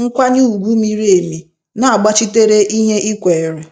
nkwanye ùgwù miri emi, n'agbachitere ihe i kweere.